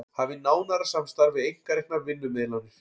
Hafi nánara samstarf við einkareknar vinnumiðlanir